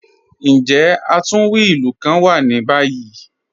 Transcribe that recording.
Njẹ́ atunwí ilù kàn wà ní báyì?